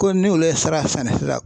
Ko ni olu ye sira sɛnɛ sisan.